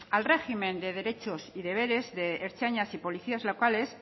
al régimen de derechos y deberes de ertzainas y policías locales